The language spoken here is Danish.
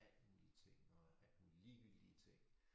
Alt mulige ting og alt mulige ligegyldige ting